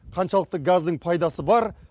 қаншалықты газдың пайдасы бар